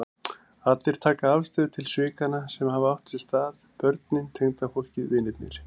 Allir taka afstöðu til svikanna sem hafa átt sér stað, börnin, tengdafólkið, vinirnir.